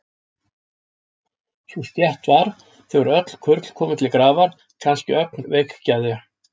Sú stétt var, þegar öll kurl komu til grafar, kannske ögn veikgeðja.